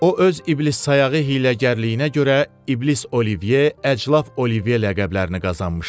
O öz iblissayağı hiyləgərliyinə görə iblis Olivey, əclaf Olivey ləqəblərini qazanmışdı.